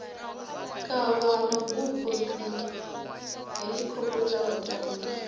kavha ha mabupo dzihelikhophutha vhatambi